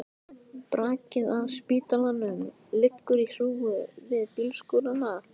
Brakið af spítalanum liggur í hrúgu við bílskúrana.